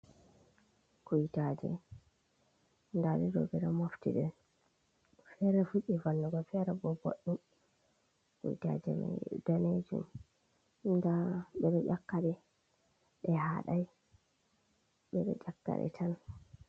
Kuyitaje, nda ɗe ɗo ɓeɗo mofti ɗe fere fuɗi vonnugo fere bo ɓoɗɗum, kuitaje man ɗe danejum nda ɓeɗo yakaɗe ɗe hadai ɓeɗo yakaɗe tan.